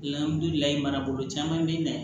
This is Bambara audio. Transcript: marabolo caman bɛ na